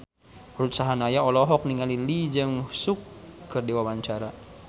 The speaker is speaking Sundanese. Ruth Sahanaya olohok ningali Lee Jeong Suk keur diwawancara